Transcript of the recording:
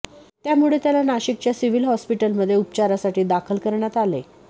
त्यामुळे त्याला नाशिकच्या सिव्हिल हॉस्पिटलमध्ये उपचारासाठी दाखल करण्यात आले